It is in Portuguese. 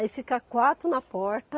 Aí fica quatro na porta.